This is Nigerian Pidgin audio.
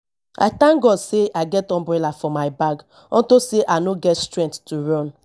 i thank god say i get umbrella for my bag unto say i no get strength to run